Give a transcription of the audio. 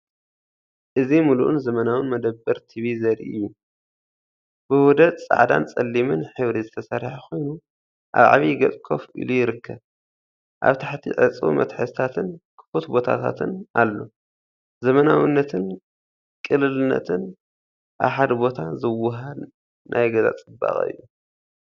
እዚ ምሉእን ዘመናውን መደበር ቲቪ ዘርኢ እዩ። ብውህደት ጻዕዳን ጸሊምን ሕብሪ ዝተሰርሐ ኮይኑ ኣብ ዓቢ ገጽ ኮፍ ኢሉ ይርከብ። ኣብ ታሕቲ ዕጹው መትሓዚታትን ክፉት ቦታታትን ኣሎ። ዘመናዊነትን ቅልልነትን ኣብ ሓደ ቦታ ዘወሃህድ ናይ ገዛ ጽባቐ እዩ።